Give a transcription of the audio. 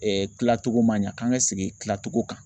kilatogo ma ɲɛ k'an ka segin kilatogo kan.